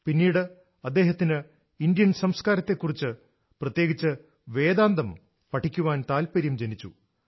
പിന്നീട് അദ്ദേഹത്തിനു ഇന്ത്യൻ സംസ്കാരത്തെക്കുറിച്ച് പ്രത്യേകിച്ച് വേദാന്തം പഠിക്കാൻ താല്പര്യം ജനിച്ചു